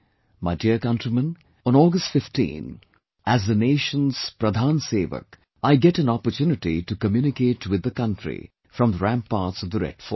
My dear countrymen, on August 15, as the nation's 'Pradhan Sewak', I get an opportunity to communicate with the country from the ramparts of the Red Fort